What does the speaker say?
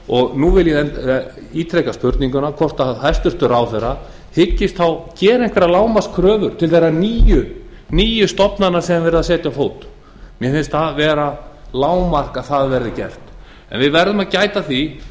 og nú vil ég ítreka spurninguna hvort hæstvirtur ráðherra hyggist þá gera einhverjar lágmarkskröfur til þeirra níu stofnana sem verið er að setja á fót mér finnst það vera lágmark að það verði gert en við verðum að gæta að því